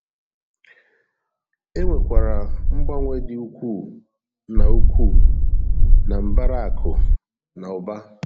Enwekwara mgbanwe dị ukwuu na ukwuu na mbara akụ na ụba